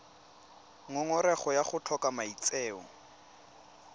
ngongorego ya go tlhoka maitseo